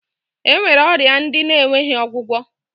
E nwere ọrịa ndị na-enweghi ọgwụgwọ